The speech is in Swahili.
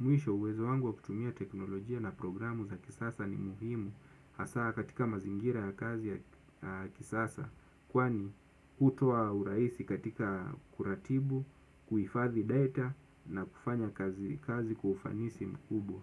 Mwisho uwezo wangu wa kutumia teknolojia na programu za kisasa ni muhimu hasa katika mazingira ya kazi ya kisasa kwani hutuoa urahisi katika kuratibu, kuhifadhi data na kufanya kazi kwa ufanisi mkubwa.